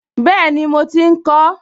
Bẹ́ẹ̀ni, mo ti ń kọ ọ́